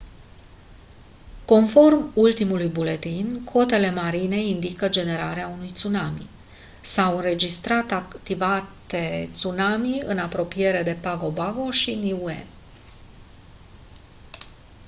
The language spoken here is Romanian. conform ultimului buletin cotele marine indică generarea unui tsunami s-a înregistrat activitate tsunami în apropriere de pago pago și niue